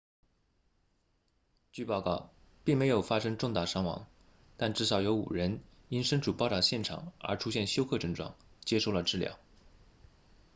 据报告并没有发生重大伤亡但至少有5人因身处爆炸现场而出现休克症状接受了治疗